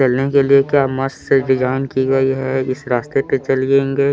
खेलने के लिए क्या मस्त डिजाइन की गई है इस रास्ते पे चलेंगे--